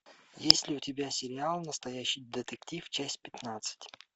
есть ли у тебя сериал настоящий детектив часть пятнадцать